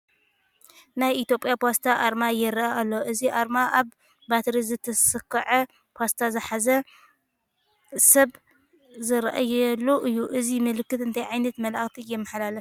ናይ ኢትዮጵያ ፖስታ ኣርማ ይርአ ኣሎ፡፡ እዚ ኣርማ ኣብ በትሪ ዝተሰክዐ ፓስታ ዝሓዘ ሰብ ዝርአየሉ እዩ፡፡ እዚ ምልክት እንታይ ዓይነት መልእኽቲ የመሓላልፍ?